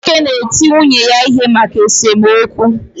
Nwoke na eti nwunye ya ihe maka esomokwu.